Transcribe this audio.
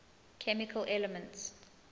chemical elements